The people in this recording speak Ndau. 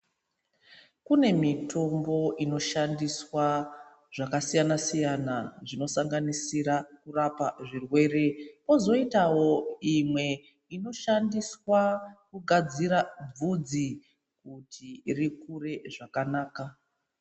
Kune mitombo inoshandiswa zvakasiyana-siyana zvinosanganisira kurapa zvirwere kuzoitawo imwe inoshandiswa kugadzira vhudzi kuti rikure zvakanaka.